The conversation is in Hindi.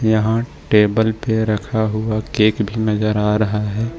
यहां टेबल पे रखा हुआ केक भी नजर आ रहा है।